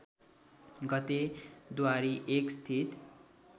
गते द्वारी १ स्थित